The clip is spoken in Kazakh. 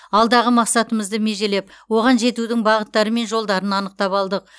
алдағы мақсатымызды межелеп оған жетудің бағыттары мен жолдарын анықтап алдық